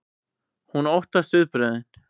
Hún óttast viðbrögðin.